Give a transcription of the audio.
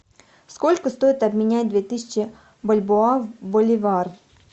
сколько стоит обменять две тысячи бальбоа в боливар